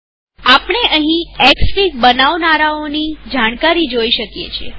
આપણે અહીં એક્સફીગ બનાવનારાઓની જાણકારી જોઈ શકીએ છીએ